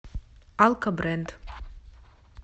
алкобренд